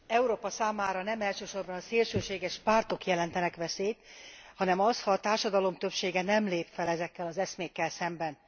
Európa számára nem elsősorban a szélsőséges pártok jelentenek veszélyt, hanem az, ha a társadalom többsége nem lép fel ezekkel az eszmékkel szemben.